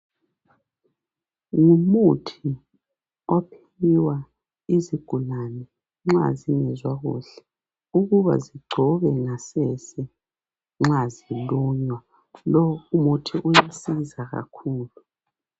Ngumuthi ophiwa izigulane nxa zingezwa kuhle ukuba zingcobe ngasese nxa zilunywa lo umuthi uyasiza kakhulu.